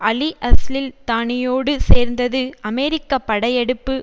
அலிஅல்சிஸ்தானியோடு சேர்ந்தது அமெரிக்க படையெடுப்பு